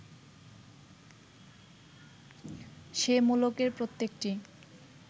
সে-মুলুকের প্রত্যেকটি